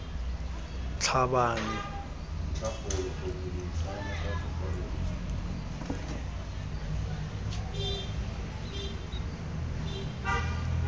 tlhabane